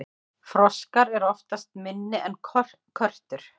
froskar eru oftast minni en körtur